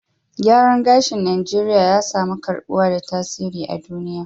Gyaran gashin Najeriya ya samu karbuwa da tasiri a duniya